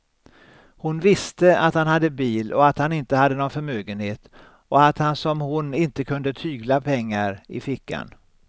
Hon visste att han hade bil och att han inte hade någon förmögenhet och att han som hon inte kunde tygla pengar i fickan.